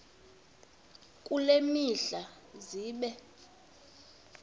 kule mihla zibe